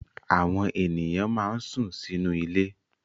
Àwọn ènìyàn máa ń sún sínú ilé